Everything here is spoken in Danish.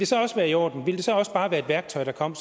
så også være i orden ville det så også bare være et værktøj der kom